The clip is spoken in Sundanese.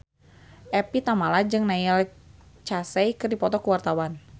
Evie Tamala jeung Neil Casey keur dipoto ku wartawan